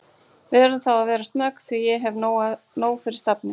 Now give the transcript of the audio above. Við verðum þá að vera snögg því ég hef nóg fyrir stafni